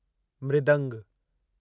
मृदंग